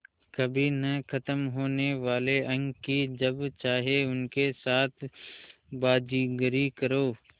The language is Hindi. कभी न ख़त्म होने वाले अंक कि जब चाहे उनके साथ बाज़ीगरी करो